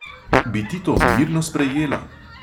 Bi ti to mirno sprejela?